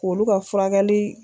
K'olu ka furakɛli